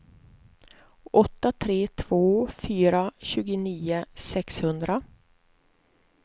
åtta tre två fyra tjugonio sexhundra